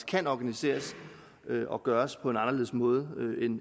kan organiseres og gøres på en anderledes måde